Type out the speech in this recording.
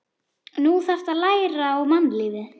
Nú þarftu að læra á mannlífið.